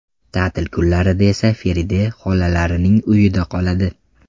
Ta’til kunlarida esa Feride xolalarining uyida qoladi.